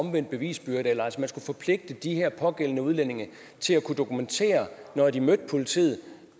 omvendt bevisbyrde man skulle forpligte de pågældende udlændinge til at kunne dokumentere når de mødte politiet